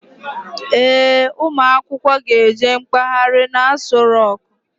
Ee, ụmụ akwụkwọ ga eje mkpaghari n'Aso roku